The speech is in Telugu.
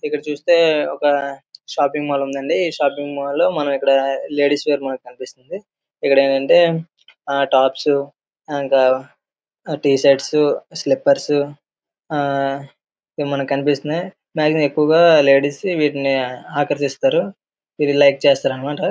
ఇక్కడ చూస్తే ఒక షాపింగ్ మాల్ ఉందండి షాపింగ్ మాల్ లో మనకి ఇక్కడ లేడీస్ మాల్ కనిపిస్తున్నాయి. ఇక్కడ ఏంటి అంటే టాప్స్ ఇంకా టీ షర్ట్స్ స్లిప్పర్స్ . అవి మనకి కనిపిస్తున్నాయి. మాక్సిమం లేడీస్ ఎక్కువగా వీటిని ఆకర్షిస్తారు వీటిని లైక్ చేస్తారు అన్న మాట.